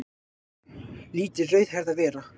Látið rauðhærða vera